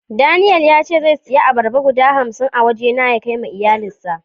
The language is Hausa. Daniel ya ce zai saya albarba guda hamsi a waje na ya Kai ma iyalin shi